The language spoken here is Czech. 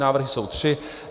Návrhy jsou tři.